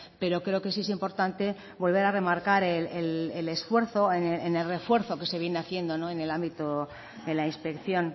pero creo que sí es importante volver a remarcar el esfuerzo en el refuerzo que se viene haciendo en el ámbito de la inspección